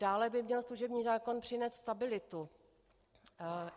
Dále by měl služební zákon přinést stabilitu.